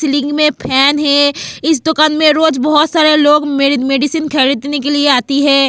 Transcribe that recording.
लिंग में फैन है इस दुकान में रोज बहुत सारे लोग मेरी मेडिसिन खरीदने के लिए आती है.